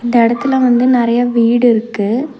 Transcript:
இந்த எடத்துல வந்து நறைய வீடு இருக்கு.